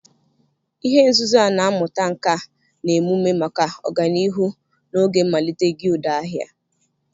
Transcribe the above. Ihe nzuzo a na-amụta nka na emume maka ọganihu n'oge mmalite guild ahia